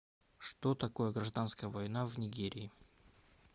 что такое гражданская война в нигерии